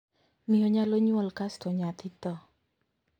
Miyo nyalo nyuol kasto nyathi thoo.